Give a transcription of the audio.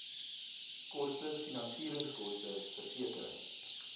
koste finansieringskoste versekering